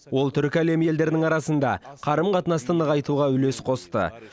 ол түркі әлемі елдерінің арасында қарым қатынасты нығайтуға үлес қосты